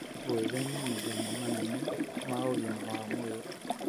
Gwĩthema mathĩna manene ma ũgima wa mwĩrĩ: